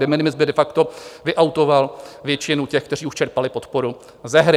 De minimis by de facto vyautoval většinu těch, kteří už čerpali podporu, ze hry.